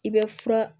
I bɛ fura